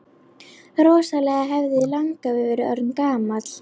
Rosalega hefði langafi verið orðinn gamall!